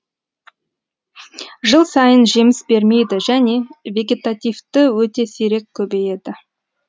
жыл сайын жеміс бермейді және вегетативті өте сирек көбейеді